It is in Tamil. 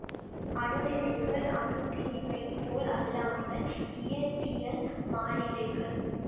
அணு நிறைகள் அணுத்திணிவைப் போல் அல்லாமல் இயற்பியல் மாறிலிகள்